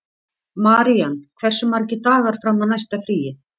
Marían, hversu margir dagar fram að næsta fríi?